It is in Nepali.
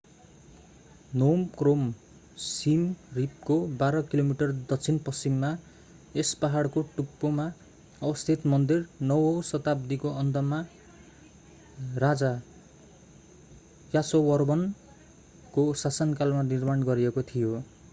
नोम क्रोम सिम रिपको 12 किलोमिटर दक्षिण पश्चिममा यस पहाडको टुप्पोमा अवस्थित मन्दिर 9 औँ शताब्दीको अन्तमा राजा यासोवर्मनको शासनकालमा निर्माण गरिएको थियो